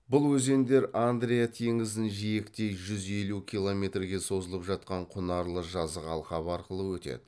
бұл өзендер андрия теңізін жиектей жүз елу километрге созылып жатқан құнарлы жазық алқап арқылы өтеді